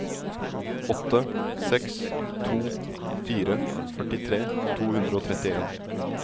åtte seks to fire førtitre to hundre og trettien